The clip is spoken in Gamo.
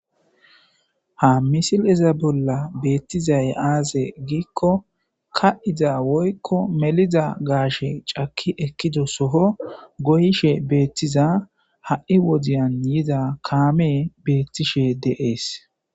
ha misiliza bolla beettizay aaze giikko ka 7iza woykko meliza gaashe caki ekkido soho goyishe beettiza ha7i wodiyan yiza kaame beettishe deees